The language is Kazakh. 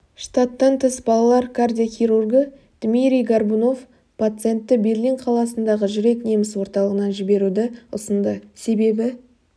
штаттан тыс бас балалар кардиохирургы дмирий горбунов пацентті берлин қаласындағы жүрек неміс орталығына жіберуді ұсынды себебі